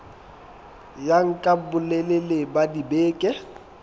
ya nka bolelele ba dibeke